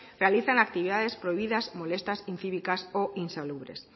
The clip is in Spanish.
realizan actividades prohibidas molestas incívicas e insalubres